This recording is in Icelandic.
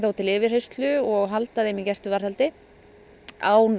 til yfirheyrslu og halda þeim í gæsluvarðhaldi án